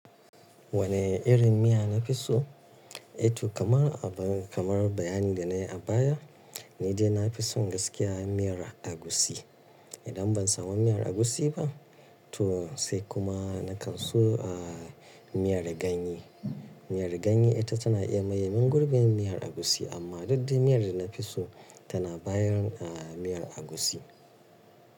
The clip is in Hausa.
Wani irin miya nafi so? Eh to kamar, kamar bayani da nayi a baya, ni dai nafi son gaskiya miyar agushi. Idan ban samu miyar agushi ba, to sai kuma na kan so aaa, miyar ganye. Miyar ganye ita tana iya maye min gurbin miyar agushi, amma dukde miyar da nafi so tana bayar a miyar agushi.